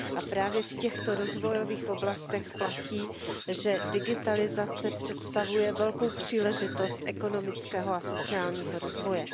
A právě v těchto rozvojových oblastech platí, že digitalizace představuje velkou příležitost ekonomického a sociálního rozvoje.